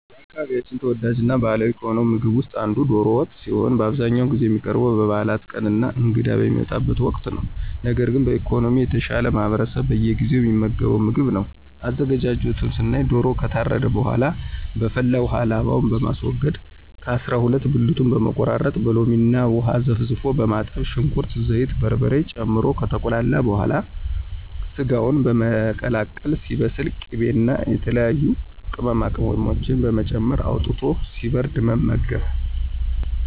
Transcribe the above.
በአካባቢያችን ተወዳጅ እና ባህላዊ ከሆነው ምግብ ውስጥ አንዱ ዶሮ ወጥ ሲሆን በአብዛኛውን ጊዜ የሚቀርበው በበዓላት ቀን እና እንግዳ በሚመጣበት ወቅት ነው። ነገር ግን በኢኮኖሚ የተሻለው ማህበረሰብ በየጊዜው የሚመገበው ምግብ ነው። አዘገጃጀቱን ስናይ ዶሮው ከታረደ በኃላ በፈላ ውሃ ላባውን በማስወገድ ከ አሰራ ሁለት ብልቱን በመቆራረጥ በሎሚ እና ውሃ ዘፍዝፎ በማጠብ ሽንኩርት፣ ዘይት፣ በርበሬ ጨምሮ ከተቁላላ በኃላ ሰጋውን በመቀላቀል ሲበስል ቅቤ እና የተለያዩ ቅመማቅመሞችን በመጨመር አውጥቶ ሲበርድ መመገብ።